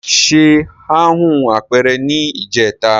Se ha hun apeere ni ijeta